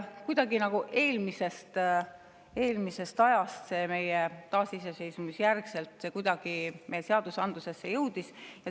Kuidagi jõudis see eelmisest ajast taasiseseisvumise järel meie seadusandlusesse.